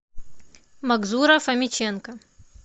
макзура фомиченко